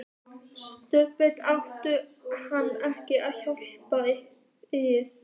SOPHUS: Átti hann ekki að hjálpa yður?